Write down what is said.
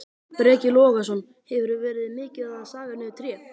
Breki Logason: Hefurðu verið mikið að saga niður tré?